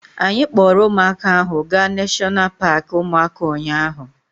Anyị kpọrọ ụmụaka ahụ gaa neshọna paaki ụmụaka ụnyaahụ